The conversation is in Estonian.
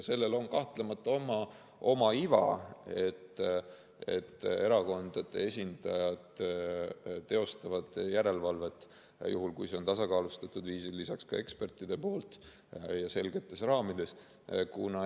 Selles on kahtlemata oma iva, et erakondade esindajad teostavad järelevalvet juhul, kui see toimub tasakaalustatud viisil, lisaks teevad seda ka eksperdid, ja selgetes raamides.